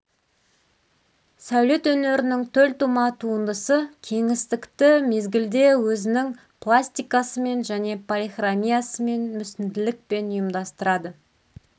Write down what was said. сәулет өнерінің төлтума туындысы кеңістікті мезгілде өзінің пластикасымен және полихромиясымен мүсінділікпен ұйымдастырады